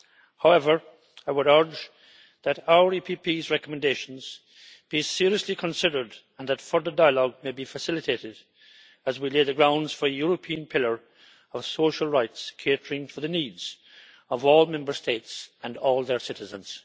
However, I would urge that our EPP's recommendations be seriously considered and that further dialogue may be facilitated as we lay the grounds for a European pillar of social rights catering to the needs of all Member States and all their citizens.